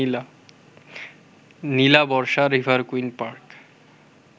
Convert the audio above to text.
Nilabarsha River Queen park